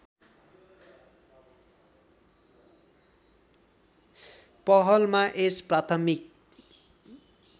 पहलमा यस प्राथमिक